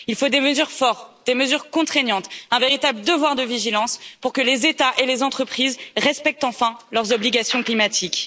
Il faut des mesures fortes, des mesures contraignantes, un véritable devoir de vigilance pour que les États et les entreprises respectent enfin leurs obligations climatiques.